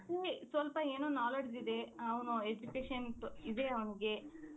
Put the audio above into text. ಇಂಗೆ ಸ್ವಲ್ಪ ಏನೋ knowledge ಇದೆ ಅವನು education ಇದೆ ಅವನಿಗೆ